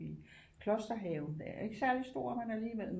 Vi klosterhaven den er ikke særlig stor men alligevel